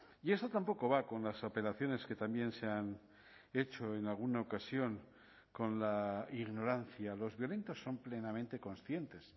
y eso tampoco va con las apelaciones que también se han hecho en alguna ocasión con la ignorancia los violentos son plenamente conscientes